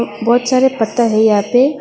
बहुत सारे पत्थर है यहां पे।